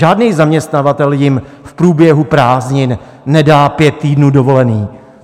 Žádný zaměstnavatel jim v průběhu prázdnin nedá pět týdnů dovolené.